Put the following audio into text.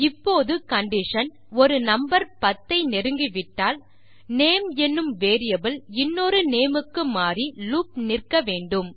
இப்போது கண்டிஷன் ஒரு நம்பர் 10 ஐ நெருங்கிவிட்டால் நேம் என்னும் வேரியபிள் இன்னொரு நேம் க்கு மாறி லூப் நிற்க வேண்டும்